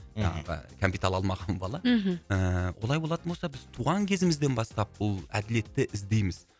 жаңағы кәмпит ала алмаған бала мхм ыыы былай болатын болса біз туған кезімізден бастап бұл әділетті іздейміз